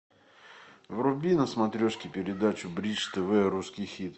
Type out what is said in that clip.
вруби на смотрешке передачу бридж тв русский хит